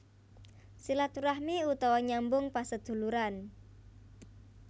Silaturahmi utawa nyambung paseduluran